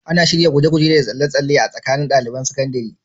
Ana shirya gasar guje-guje da tsalle-tsalle tsakanin ɗaliban sakandare?